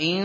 إِن